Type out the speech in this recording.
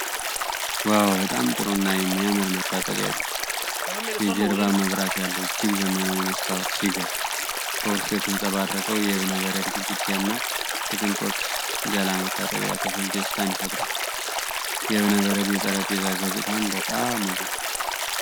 ዋው! በጣም ጥሩ እና የሚያምር መታጠቢያ ቤት! የጀርባ መብራት ያለው እጅግ ዘመናዊ መስታወት ሲገርም፣ በውስጡ የተንጸባረቀው የእብነበረድ ግድግዳና የቅንጦት ገላ መታጠቢያ ክፍል ደስታን ይፈጥራል። የእብነበረድ የጠረጴዛ ገጽታም በጣም ውብ ነው።